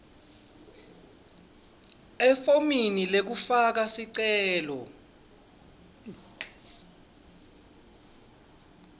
efomini lekufaka sicelo